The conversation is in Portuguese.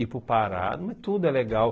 Ir para o Pará, tudo é legal.